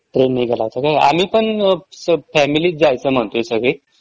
Train नी गेला होता काय? आम्ही पण फॅमिली च जायचं म्हणतोय सगळी.